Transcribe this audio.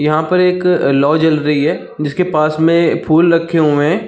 यहाँ पे एक लौ जल रही हे जिसके पास में फूल रखे हुए है।